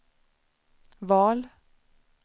val